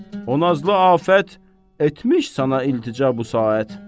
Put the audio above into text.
O nazlı afət etmiş sənə iltica bu saat.